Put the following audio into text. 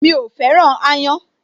Mi ò féràn aáyán